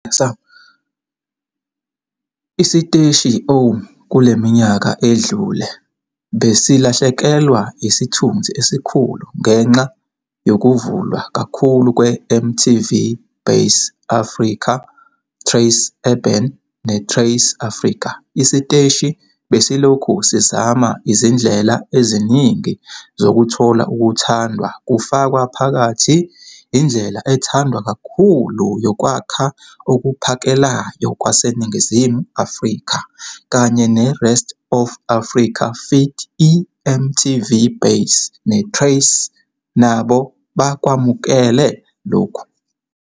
Isiteshi O, kule minyaka edlule, besilahlekelwa isithunzi esikhulu ngenxa yokuvulwa kakhulu kweMTV Base Africa, Trace Urban neTrace Africa. Isiteshi besilokhu sizama izindlela eziningi zokuthola ukuthandwa kufaka phakathi indlela ethandwa kakhulu yokwakha okuphakelayo kwaseNingizimu Afrika kanye ne-Rest of Africa feed, iMTV Base neTrace nabo bakwamukele lokhu.